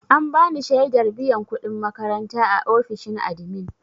An bani shaidar biyan kuɗin makaranta a ofishin admin.